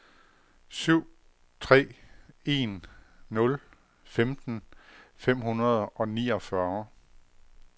syv tre en nul femten fem hundrede og niogfyrre